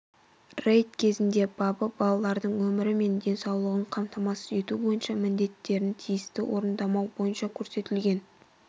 рейд кезінде бабы балалардың өмірі мен денсаулығын қамтамасыз ету бойынша міндеттерін тиісті орындамау бойынша көрсетілген